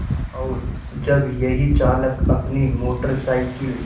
और जब यही चालक अपनी मोटर साइकिल